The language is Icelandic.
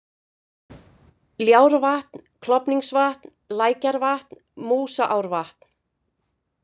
Ljárvatn, Klofningsvatn, Lækjarvatn, Músaárvatn